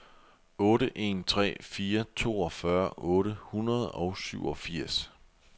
otte en tre fire toogfyrre otte hundrede og syvogfirs